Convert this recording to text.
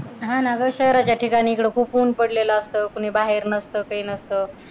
हा ना ग. शहराच्या ठिकाणी इकडं खूप ऊन पडलेलं असतं कोणी बाहेर नसतं काही नसतं.